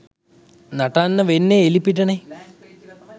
නටන්න වෙන්නේ එළිපිටනේ.